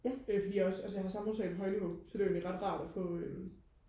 fordi jeg også altså jeg har samfundsfag på højniveau så det er ret rart at få øhm